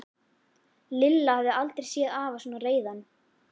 Lilla hafði aldrei séð afa svona reiðan.